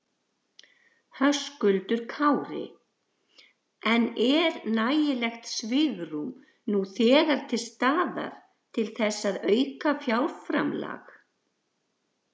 Höskuldur Kári: En er nægilegt svigrúm nú þegar til staðar til þess að auka fjárframlag?